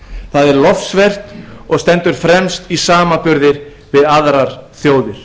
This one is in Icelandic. það er lofsvert og stendur fremst í samanburði við aðrar þjóðir